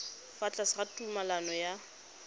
fa tlase ga tumalano ya